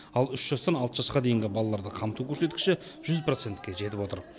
ал үш жастан алты жасқа дейінгі балаларды қамту көрсеткіші жүз процентке жетіп отыр